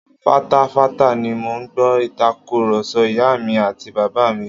Fatafata ni mò ń gbọ́ Ìtàkùrọ̀sọ ìyá mi àti bàbá mi